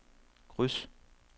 kryds